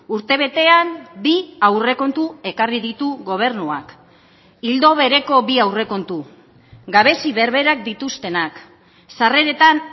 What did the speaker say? urtebetean bi aurrekontu ekarri ditu gobernuak ildo bereko bi aurrekontu gabezi berberak dituztenak sarreretan